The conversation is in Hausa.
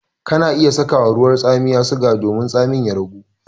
Kana iya saka ma ruwan tsamiya suga domin tsamin ya ragu.